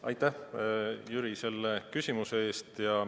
Aitäh, Jüri, selle küsimuse eest!